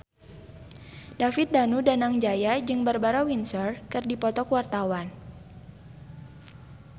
David Danu Danangjaya jeung Barbara Windsor keur dipoto ku wartawan